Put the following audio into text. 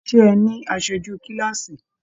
Ṣe ẹ ní aṣoju kilaasi?